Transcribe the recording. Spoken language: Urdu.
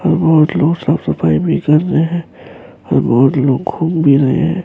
کچھ لوگ صاف سفیی بھی کر رہی ہان اورکچھ لوگ گھوم بھی رہی ہیں-